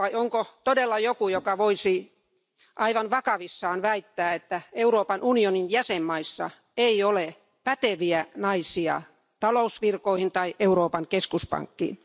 Vai onko todella joku, joka voisi aivan vakavissaan väittää, että Euroopan unionin jäsenmaissa ei ole päteviä naisia talousvirkoihin tai Euroopan keskuspankkiin?